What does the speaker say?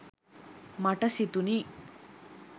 මට සිතුනි.